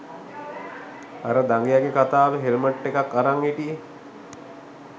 අර දඟයගේ කතාවේ හෙල්මට් එකක් අරන් හිටියේ